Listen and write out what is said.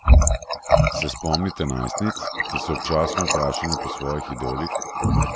Se spomnite najstnic, ki so občasno vprašane po svojih idolih?